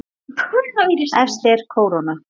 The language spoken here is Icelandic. Efst er kóróna.